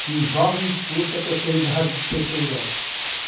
que o jovem expulsa a terceira idade do cê cê jota.